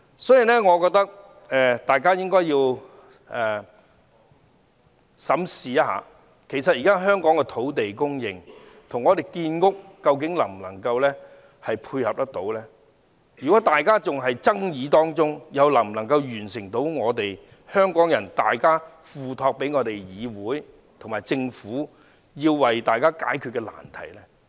所以，我覺得大家應該審視一下，香港現時的土地供應究竟能否配合建屋目標，如果大家還在爭議，又能否解決香港人付託議會及政府的難題呢？